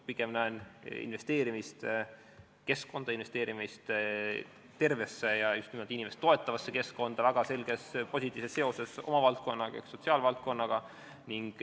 Pigem näen ma investeerimist keskkonda, investeerimist tervesse ja just nimelt inimest toetavasse keskkonda väga selges positiivses seoses oma valdkonna ehk sotsiaalvaldkonnaga.